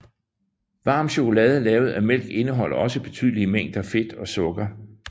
Varm chokolade lavet af mælk indeholder også betydelige mængder fedt og sukker